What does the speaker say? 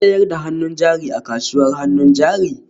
An sayar da hannun jari a kasuwar hannun jari?